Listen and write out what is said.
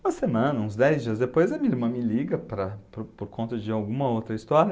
Uma semana, uns dez dias depois, a minha irmã me liga para por por conta de alguma outra história.